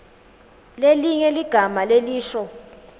lelinye ligama lelisho